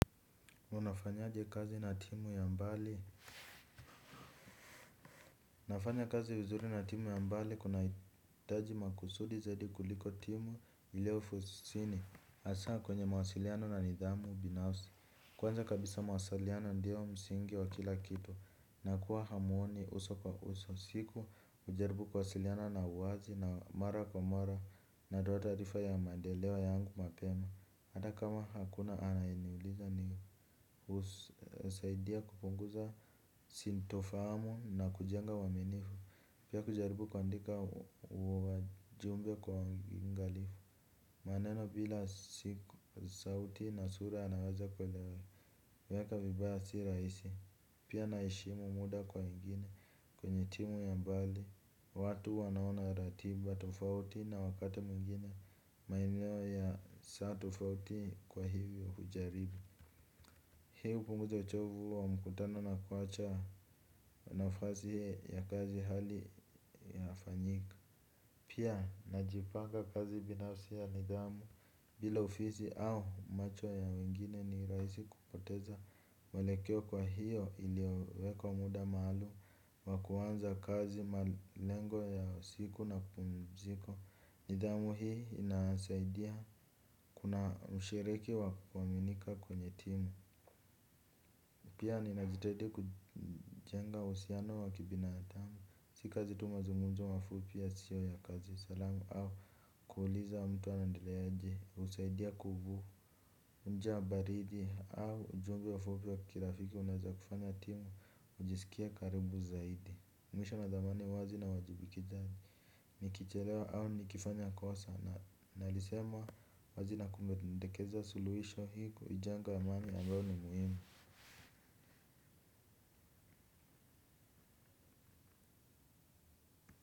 Unafanyaje kazi na timu ya mbali? Nafanya kazi vizuri na timu ya mbali kunahitaji makusudi zaidi kuliko timu ilio ofisini hasa kwenye mawasiliano na nidhamu binafsi. Kwanza kabisa mawasiliano ndiyo msingi wa kila kitu na kuwa hamuoni uso kwa uso. Siku hujaribu kuwasiliana na uwazi na mara kwa mara natoa tarifa ya maendeleo yangu mapema hata kama hakuna anayeniuliza ni husaidia kupunguza sintofahamu na kujenga uaminifu. Pia kujaribu kuandika ujumbe kwa uangalifu. Maneno bila si sauti na sura anaweza kuelewa kuyaeka vibaya si rahisi. Pia naheshimu muda kwa wengine. Kwenye timu ya mbali watu wanaona ratiba tofauti na wakati mwingine. Maeneo ya saa tofauti kwa hivyo hujaribu. Hii hupunguza uchovu wa mkutano na kuacha nafasi ya kazi hali inafanyika. Pia najipanga kazi binafsi ya nidhamu. Bila ofisi au macho ya wengine ni rahisi kupoteza mwelekeo kwa hiyo iliyowekwa muda maalum wa kuanza kazi malengo ya siku na pumziko. Nidhamu hii inasaidia kuna mshiriki wa kuaminika kwenye timu. Pia ninajitahidi kujenga uhusiano wa kibinadamu. Si kazi tu mazungumzo mafupi yasio ya kazi salamu au kuuliza mtu anaendeleaji husaidia kubu hujaa baridi au ujumbe mfupi wa kirafiki unaeza kufanya timu kujisikia karibu zaidi. Mwisho nathamani uwazi na uwajibikaji. Nikichelewa au nikifanya kosa na nalisema wazi na kupendekeza suluhisho ili kujenga amani ambayo ni muhimu.